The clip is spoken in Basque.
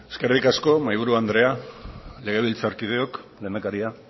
eskerrik asko mahaiburu anderea legebiltzarkideok lehendakaria